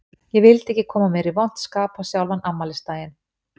Ég vildi ekki koma mér í vont skap á sjálfan afmælisdaginn.